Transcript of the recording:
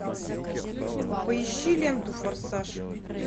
поищи ленту форсаж